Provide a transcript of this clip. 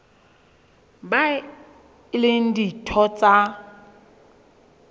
bao e leng ditho tsa